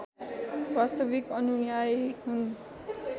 वास्तविक अनुयायी हुन्